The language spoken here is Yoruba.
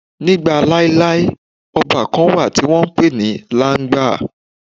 Nígbà laelae, ọba kan wà tí wọ́n ń pè ní Làńgbà.